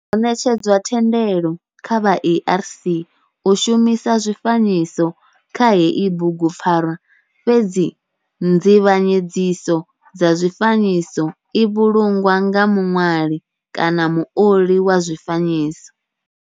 Ho netshedzwa thendelo kha vha ARC u shumisa zwifanyiso kha heyi bugupfarwa fhedzi nzivhanyedziso kha zwifanyiso i vhulungwa nga muṋwali kana muoli wa zwifanyiso.